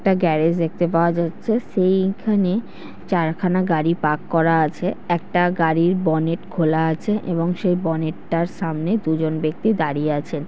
একটা গ্যারেজ দেখতে পাওয়া যাচ্ছে সেইখানে চারখানা গাড়ি পার্ক করা আছে একটা গাড়ির বনেট খোলা আছে এবং সেই বনেট -টার সামনে দুজন ব্যক্তি দাঁড়িয়ে আছে।